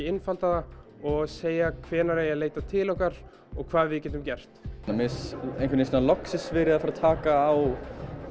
einfalda það og segja hvenær eigi að leita til okkar og hvað við getum gert mér finnst einhvern veginn loksins verið að fara að taka á